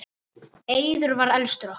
Eiður var elstur okkar.